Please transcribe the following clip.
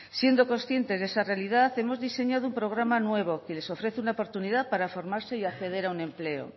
siendo conscientes de esa realidad hemos diseñado un programa nuevo que les ofrece una oportunidad para formarse y acceder a un empleo